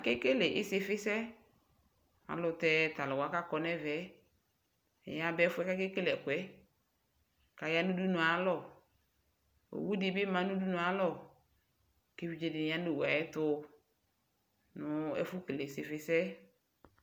eke kele isiƒisɛ alʋtɛ talʋwa kakɔ nɛvɛ yaba ɛƒʋɛ kakekele ɛkʋɛ kayanʋ ɖʋnʋe ayalɔ owʋɖibi ma nʋɖʋnʋe ayalɔ keviɖƶeɖi ya nʋ owʋayɛtɔ nʋ ɛƒʋ kele isiƒisɛ